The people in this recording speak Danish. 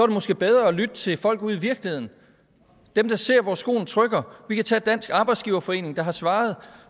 det måske bedre at lytte til folk ude i virkeligheden dem der ser hvor skoen trykker vi kan tage dansk arbejdsgiverforening der har svaret